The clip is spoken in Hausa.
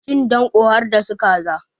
Cin danko harda su kaza.